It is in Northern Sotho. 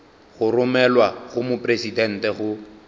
go romelwa go mopresidente go